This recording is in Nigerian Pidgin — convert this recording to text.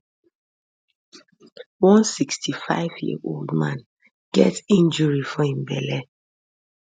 one 65yearold man get injury for im belle